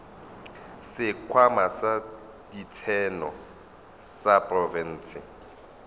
sekhwama sa ditseno sa profense